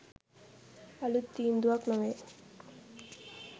අලුත් තීන්දුවක් නොවේ.